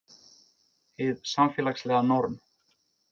Hið samfélagslega norm